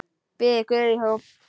Biður guð í hljóði.